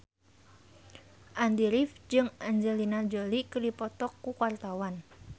Andy rif jeung Angelina Jolie keur dipoto ku wartawan